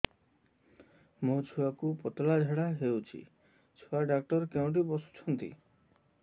ମୋ ଛୁଆକୁ ପତଳା ଝାଡ଼ା ହେଉଛି ଛୁଆ ଡକ୍ଟର କେଉଁଠି ବସୁଛନ୍ତି